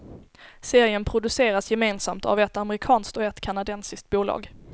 Serien produceras gemensamt av ett amerikanskt och ett kanadensiskt bolag.